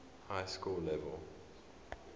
high school level